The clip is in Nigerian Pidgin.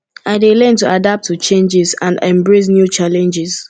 i dey learn to adapt to changes and embrace new challenges